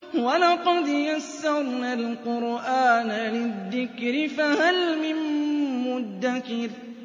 وَلَقَدْ يَسَّرْنَا الْقُرْآنَ لِلذِّكْرِ فَهَلْ مِن مُّدَّكِرٍ